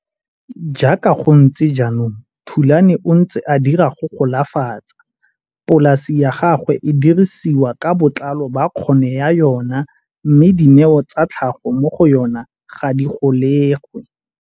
Jaaka go ntse jaanong Thulani o ntse a dira go golafatsa. Polase ya gagwe e dirisiwa ka botlalo ba kgono ya yona mme dineo tsa tlhago mo go yona ga di golegwe.